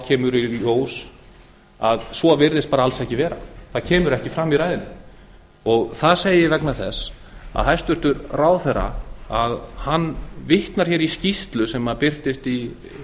kemur í ljós að svo virðist bara alls ekki vera það kemur ekki fram í ræðunni það segi ég vegna þess að hæstvirtur ráðherra vitnar í skýrslu sem birtist í